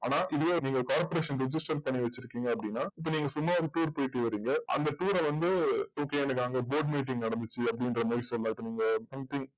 ஆனா இதுவே நீங்க corporation register பண்ணி வச்சுருக்கீங்க அப்டின்னா இப்போ நீங்க சும்மா ஒரு tour போயிட்டு வறிங்க அந்த tour வந்து okay எனக்கு அங்க board meeting நடந்துச்சு அப்டின்றமாறி சொல்லா இப்போ நீங்க